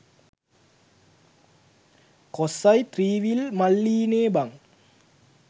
කොස්සයි three wheel මල්ලියිනෙ බං